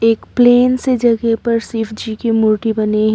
एक प्लेन सी जगह पर शिव जी की मूर्ति बनी है।